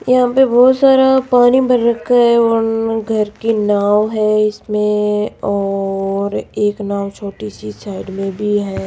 यहां पे बहुत सारा पानी भर रखा है और घर की नाव है इसमें और एक नाव छोटी सी साइड में भी है।